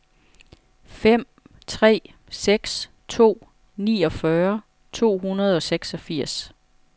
fem tre seks to niogfyrre to hundrede og seksogfirs